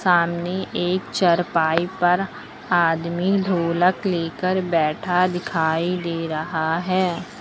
सामने एक चारपाई पर आदमी ढोलक लेकर बैठा दिखाई दे रहा है।